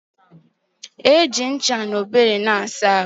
Ana eji ncha na ogbo wéré asa ahụ